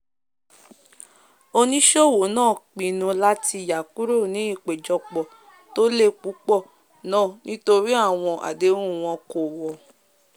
oníṣòwò náà pinnu láti yà kúrò ní ìpèjọpọ tó lè púpọ̀ nàà nítorí àwọn àdéhùn wọn kò wọ̀